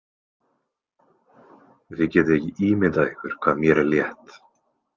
Þið getið ekki ímyndað ykkur hvað mér er létt.